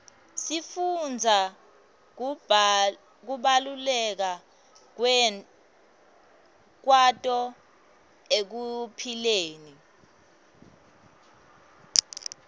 sifundza kubaluleka kwato ekuphileni